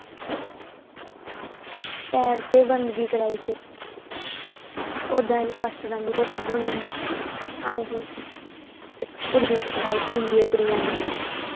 ਪੈੜ ਤੇ ਬੰਦਗੀ ਕਰਾਈ ਸੀ ਅਸੀਂ ਓਦਾਂ ਅਸੀਂ ਪਾਸਟਰਾਂ ਦੀ ਰੋਟੀ ਬਣਾਉਣੀ ਸੀ ਹਾਂਜੀ ਕੁੜੀਆਂ ਹੁੰਦੀ ਏ ਕੁੜੀਆਂ ਦੀ।